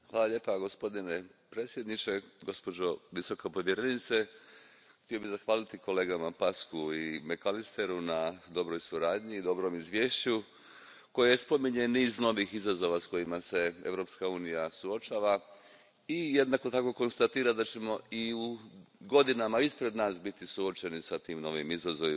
Gospodine predsjedavajući, gospođo visoka povjerenice, htio bih zahvaliti kolegama Paşcu i McAllisteru na dobroj suradnji i dobrom izvješću koje spominje niz novih izazova s kojima se Europska unija suočava i jednako tako konstatira da ćemo i u godinama pred nama biti suočeni s tim novim izazovima.